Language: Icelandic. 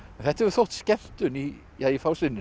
þetta hefur þótt skemmtun í